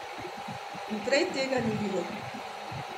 In prej tega ni bilo.